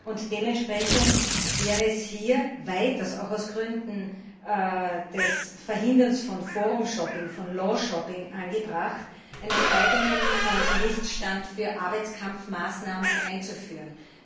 Und dementsprechend wäre es hier durchaus auch aus Gründen des Verhinderns von forum shopping von law shopping angebracht, einen eigenen Gerichtsstand für Arbeitskampfmaßnahmen einzuführen.